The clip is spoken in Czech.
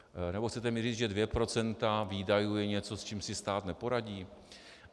Nebo mi chcete říct, že dvě procenta výdajů je něco, s čím si stát neporadí?